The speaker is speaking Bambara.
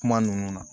Kuma ninnu na